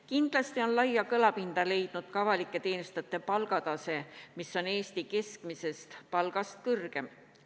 Kindlasti on laia kõlapinda leidnud ka avalike teenistujate palgatase, mis on Eesti keskmisest palgast kõrgem.